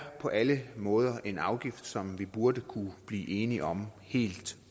på alle måder en afgift som vi burde kunne blive enige om helt